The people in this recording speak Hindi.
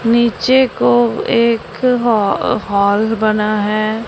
नीचे को एक हा हॉल बना है।